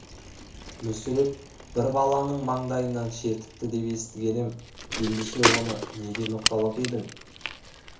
мүсіреп бір баланың маңдайынан шертіпті деп естіген емен ендеше оны неге ноқтала дедің